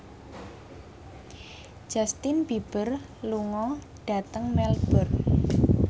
Justin Beiber lunga dhateng Melbourne